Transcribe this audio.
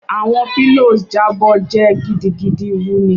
Awọn pllows jabọ jẹ gidigidi wuni